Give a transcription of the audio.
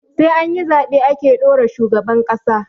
Sai anyi zaɓe ake ɗora shugaban ƙasa